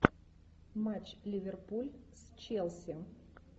матч ливерпуль с челси